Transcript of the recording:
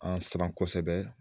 An siran kosɛbɛ